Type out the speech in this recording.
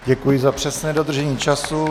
Děkuji za přesné dodržení času.